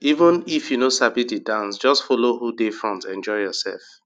even if you no sabi the dance just follow who dey front enjoy yourself